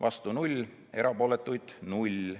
vastu 0, erapooletuid 0.